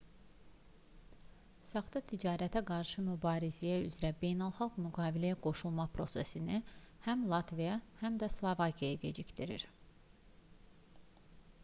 saxta ticarətə qarşı mübarizə üzrə beynəlxalq müqaviləyə qoşulma prosesini həm latviya həm də slovakiya gecikdirir